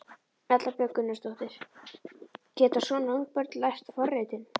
Erla Björg Gunnarsdóttir: Geta svona ung börn lært forritun?